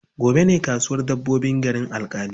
Gobe ne kasuwar dabbobin garin Alƙali.